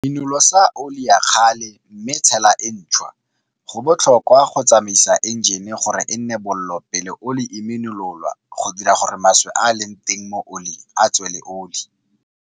Minolosa oli ya kgale mme tshela e ntšwa. Go botlhokwa go tsamaisa enjene gore e nne bollo pele oli e minololwa go dira gore maswe a a leng teng mo oling a tswe le oli.